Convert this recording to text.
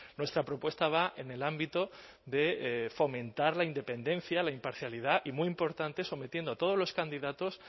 nuestra propuesta va en el ámbito de fomentar la independencia la imparcialidad y muy importante sometiendo a todos los candidatos